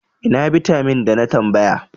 Ina bitamin da na tambaya?